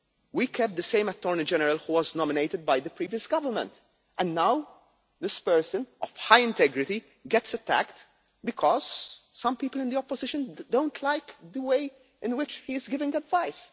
We kept the same Attorney General who was nominated by the previous government, and now this person of high integrity gets attacked because some people in the opposition do not like the way in which he is giving advice.